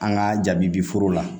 An ka jabi bi foro la